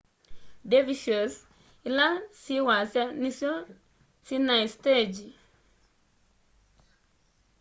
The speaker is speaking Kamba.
dervishes ila syi wasya nisyo sinai sitengyi